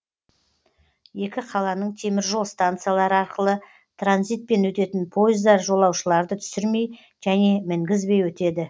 екі қаланың теміржол станциялары арқылы транзитпен өтетін пойыздар жолаушыларды түсірмей және мінгізбей өтеді